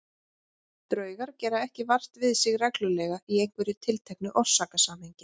Draugar gera ekki vart við sig reglulega í einhverju tilteknu orsakasamhengi.